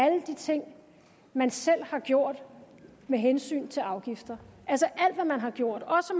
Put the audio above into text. alle de ting man selv har gjort med hensyn til afgifter altså alt hvad man har gjort også